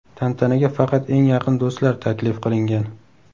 Tantanaga faqat eng yaqin do‘stlar taklif qilingan.